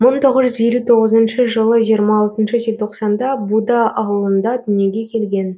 мың тоғыз жүз елу тоғызыншы жылы жиырма алтыншы желтоқсанда буда ауылында дүниеге келген